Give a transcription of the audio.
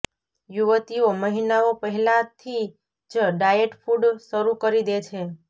યુવતીઓ મહિનાઓ પહેલાથી જ ડાયેટ ફૂડ શરૂ કરી દે છે